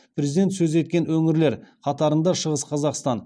президент сөз еткен өңірлер қатарында шығыс қазақстан